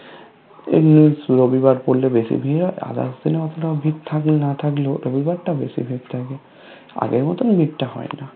এমনি রবিবার পড়লে বেশি ভিড় হয় others দিনএ অতোটা ভিড় থাকলে না থাকলেও রবিবার টা বেশি ভিড় থাকে আগের মতোন ভিড়তা হয় না